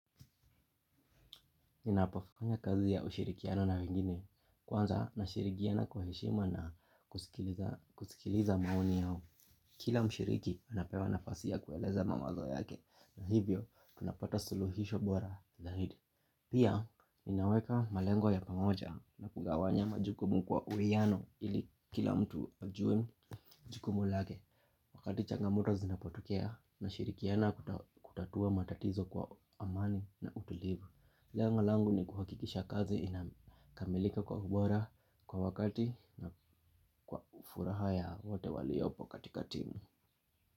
Ninapofanya kazi ya ushirikiana na wengine. Kwanza, nashirikiana kwa heshima na kusikiliza maoni yao. Kila mshiriki, anapewa nafasi ya kueleza mamazo yake. Na hivyo, tunapata suluhisho bora. Zahidi. Pia, ninaweka malengo ya pamoja na kugawanya majukumu kwa uwiano ili kila mtu ajuwe jukumu lake. Wakati changamoto zinapotokea na shirikiana kutatua matatizo kwa amani na utulivu. Lengo langu ni kuhakikisha kazi inakamilika kwa ubora kwa wakati na kwa furaha ya wote waliopo katika timu.